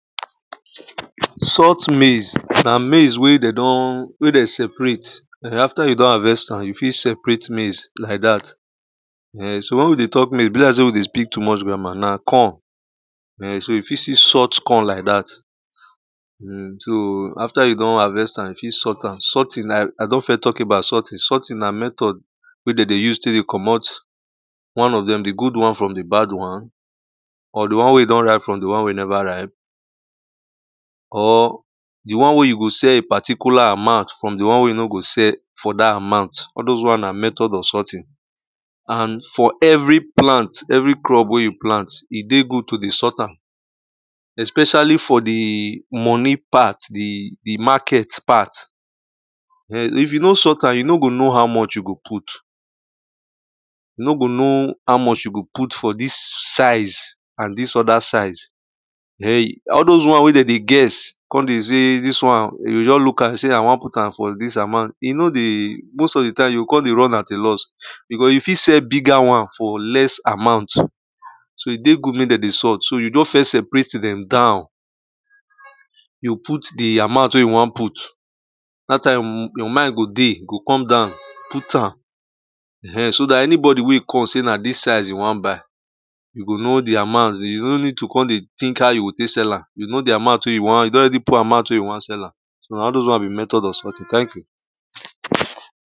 sort maize na maize we de deon we de seperate den after you don harvest am you fit seperate maize like dat eh so wen we dey talk maize be like we dey speak too much grammar na corn so you fit still sort corn like that. so after you don harvest am you fit sort am sorting na i don first talk about sorting sorting na method we de dey use tek dey commot one of dem di good one from di bad one from di won we don ripe from di won we e neva ripe. di won wey you go sell a particula amout from di won wey you no go sell for dat amount all those won na method of sorting. and for every plant every crop wen you plant e dey good to dey sort am. especially for di money part di market part if you no sort am you no go know how much you go put you no go know how much you go put for this size and dis other size all those won wen den dey guess kon dey say dis won u o just look am say me i won put am for dis amount e no dey most of di time you kon dey run at a loss because you o fit sell bigger won for less amount. so e dey good make de dey sort so you don first seperate dem down you o put di amount we you wan put. dat time your mind go dey you o come down put am ehen so dat anybody wen come say na dis size e wan buy you go know di amount you no need to kon dey think how you won sell am you know di amount we you o tek you don already put amout we you won sell am so all those won be method of sorting thank you.